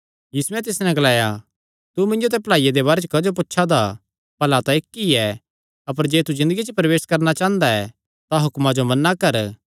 यीशुयैं तिस नैं ग्लाया तू मिन्जो ते भलाईया दे बारे च क्जो पुछा दा भला तां इक्क ई ऐ अपर जे तू ज़िन्दगिया च प्रवेश करणा चांह़दा ऐ तां हुक्मां जो मन्ना कर